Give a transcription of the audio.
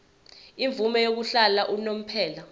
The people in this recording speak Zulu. imvume yokuhlala unomphela